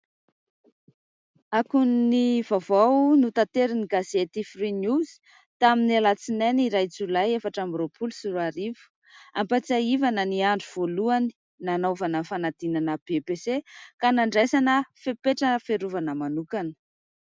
Akon'ny vaovao notanterin'ny gazety " Free news", tamin'ny alatsinainy iray jolay efatra amby roapolo sy roarivo, ampatsahivana ny andro voalohany nanaovana fanadinana BEPC ka nandraisana fepetra fiarovana manokana.